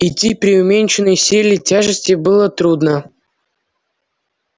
идти при уменьшенной силе тяжести было трудно